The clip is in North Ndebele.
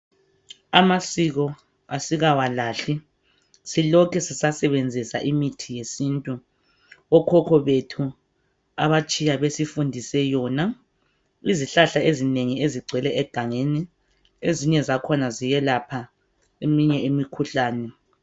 Amasiko asikawalahli silokhe sisasebenzisa imithi yesintu okhokho bethu abatshiya besifundise yona. Izihlahla ezinengi ezigcwele egangeni ezinye zakhona ziyelapha eminye imikhuhlane.